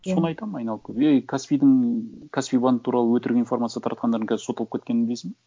иә соны айтамын айналып келіп ей каспидің каспи банк туралы өтірік информация таратқандардың қазір сотталып кеткенін білесің бе